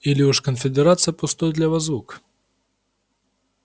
или уж конфедерация пустой для вас звук